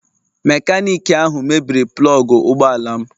Mekaniki ahụ mebiri plọg ụgbọ ala m.